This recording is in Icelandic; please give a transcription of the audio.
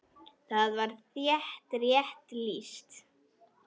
Þar var þér rétt lýst!